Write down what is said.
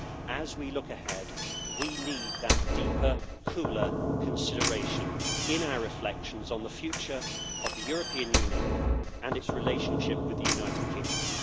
As we look ahead, we need that deeper, cooler consideration in our reflections on the future of the European Union and its relationship with the United Kingdom.